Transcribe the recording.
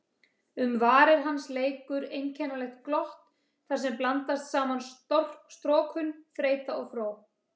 Um varir hans leikur einkennilegt glott þarsem blandast saman storkun, þreyta og fró.